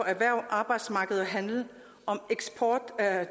erhverv arbejdsmarked og handel om eksport